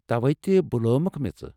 توے بُلٲومکھ مےٚ ژٕ۔